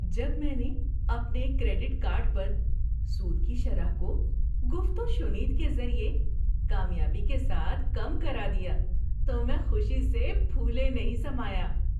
جب میں نے اپنے کریڈٹ کارڈ پر سود کی شرح کو گفت و شنید کے ذریعے کامیابی کے ساتھ کم کرا دیا تو میں خوشی سے پھولے نہیں سمایا۔